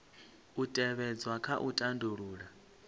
u tevhedzwa kha u tandulula